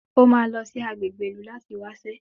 O máa lọ sí agbègbè ìlú láti wáṣẹ́